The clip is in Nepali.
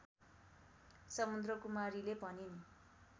समुद्रकुमारीले भनिन्